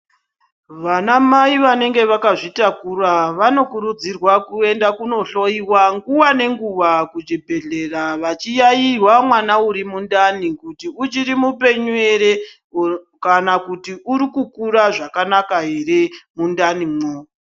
Vana mai vanenge vakazvitakura vanokurudzirwa kuenda kundohloyiwa nguwa nenguwa kuchibhehlera vachiyairwa mwana uri mundani kuti uchiri mupenyu ere kana kuti uri kukura zvakanaka ere mundanimwo.